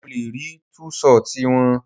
Mo le rí tú ṣọtì wọn.